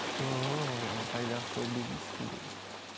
жоқ қайдағы шоу бизнес бізде